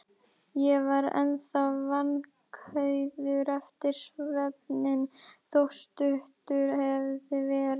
Ég var ennþá vankaður eftir svefninn, þótt stuttur hefði verið.